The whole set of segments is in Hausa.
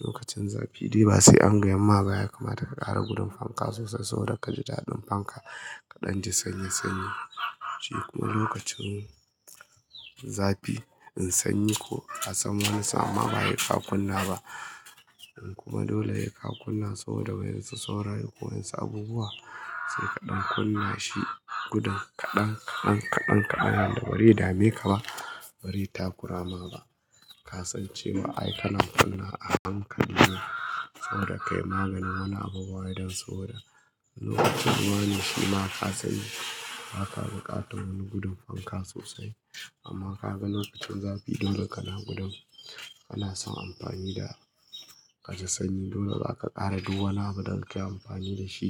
Lokacin zafi dai ba sai an ga yamma ba ya kamata ka ƙara gudun fanka sosai saboda ka ji daɗin fanka ka ɗan ji sanyi sanyi. Shi kuma lokacin zafi in sanyi ko a tsam wani sa'inma ba sai ka kunna ba. In kuma dole he ka kunna saboda wai yanzu saurayi ko yanzu abubuwa sai ka ɗan kunna shi gudan kaɗan kaɗan kaɗan kaɗan da bari dame ka ba, bari ta ƙurama ba. Ka sance wa ai ka nan fanna a han ka ne saboda ka yi maganin wani abubuwa idan saboda lokacin ruwa ne shi ma ka sanyi ba ka buƙatan wani gudun fanka sosai. Amma ka ga lokacin zafi dole ka na gudun, ka na son amfani da ka ji sanyi dole ba ka ƙara duk wani abuda inka yi amfani da shi.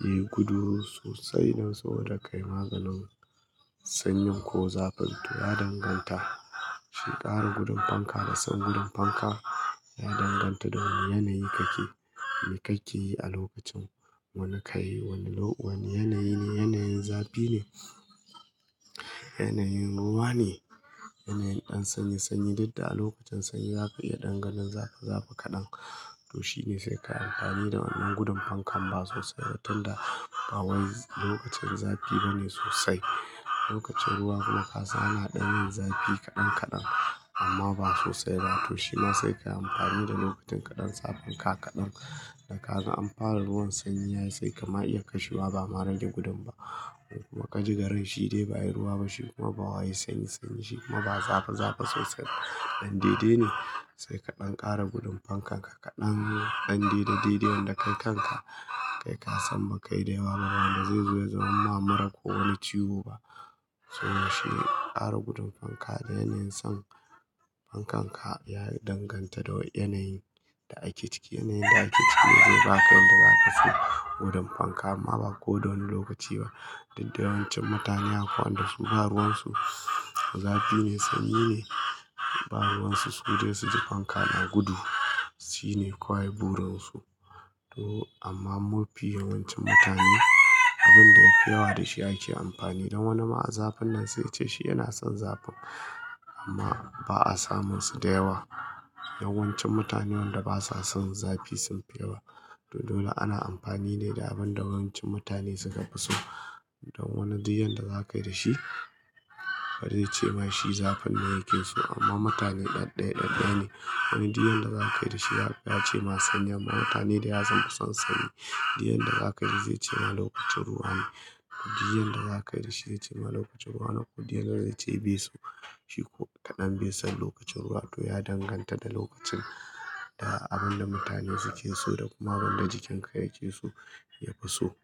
Yi gudu sosai don saboda ka yi maganin sanyin ko zafin to ya danganta. Shi ƙara gudun fanka da son gudun fanka ya danganta da wane yanayi ka ke, me ka ke yi a lokacin wani ka yi wani lo-- wani yanayi ne, yanayin zafi ne, yanayin ruwa ne, yanayin ɗan sanyi sanyi duk da a lokacin sanyi za ka iya ɗan ganin zafizafi kaɗan. To shi ne sai ka yi amfani da wannan gudun fankan ba sosai ba tun da ba wai lokacin zafi bane sosai. Lokacin ruwa ma kasan ana ɗan yin zafi kaɗan kaɗan amma ba sosai ba to shi ma sai ka yi amfani da lokacin kaɗan zafin ka kaɗan da ka gan an fara ruwan sanyi yayi sai ka ma iya kashiwa ba ma rage gudun ba. Kuma ka ji garin shi dai ba yi ruwa ba shi kuma ba wa yayi sanyi sanyi shi kuma ba zafi zafi sosai. Dan daidai ne sai ka ɗan ƙara gudun fankan ka kaɗan dan daidai yadda kai kanka kai ka san ba kai daiwa ba wanda zai zo ya zama mura ko wani ciwo ba. To shi ƙara gudun fanka da yanayin son fankan ka ya danganta da yanayin da ake ciki. Yanayin da ake ciki zai ba ka yadda za ka so gudun fanka amma ba ko da wani lokaci ba. Diddawancin mutane akwai wanda su ba ruwan su zafi ne sanyi ne. Ba ruwansu sude su ji fanka na gudu. Shi ne kawai burin su. To amma mafi yawancin mutane abin da yafi yawa da shi ake amfani don wani ma zafin nan sai ce shi yana son zafin amma ba a samun su da yawa. Yawancin mutane wanda basa son zafi sun fi yawa. To dole ana amfani ne da abin da yawancin mutane suka fi so. Don wani diyan da za ka yi da shi, ba zai ce ma shi zafin nan yake so amma mutane ɗaya ɗaya ɗaya ne. Wani diyan da za ka yi da shi ya ce ma sanyin ba mutane da ya san ba son sanyi. Diyan da za ka yi zai ce ma lokacin ruwa ne. Diyan da za ka yi da shi ya ce ma lokacin ruwa na ko diyan da zai ce beso shi ko kaɗan besan lokacin ruwa to ya danganta da lokacin da abin da mutane suke so da kuma abin da jikin ka yake so ya fi so.